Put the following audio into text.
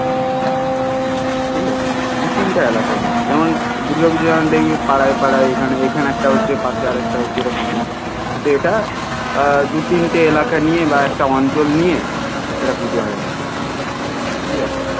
ঠিক আছে দু তিনটে এলাকা নিয়ে যেমন দূর্গা পুজো যেমন পাড়ায় পাড়ায় এখানে একটা হচ্ছে পাশে আর একটা হচ্ছে এরকম হয় কিন্তু এটা আ দু তিনটে এলাকা নিয়ে বা অঞ্চল নিয়ে একটা পুজো হয় আর কি ঠিক আছে